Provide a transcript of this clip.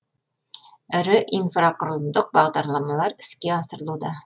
ірі инфрақұрылымдық бағдарламалар іске асырылуда